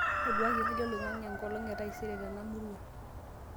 ontoduaki hali oloingange enkolong e taisere tena murua